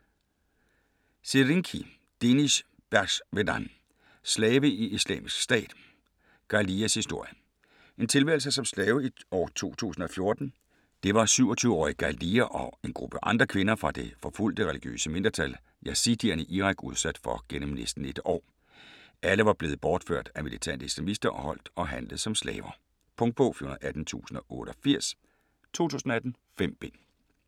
Serinci, Deniz Berxwedan: Slave i Islamisk Stat: Ghaliyas historie En tilværelse som slave i år 2014. Det var 27-årige Ghaliya og en gruppe andre kvinder fra det forfulgte, religiøse mindretal yazidierne i Irak udsat for igennem næsten et år. Alle var blevet bortført af militante islamister og holdt og handlet som slaver. Punktbog 418088 2018. 5 bind.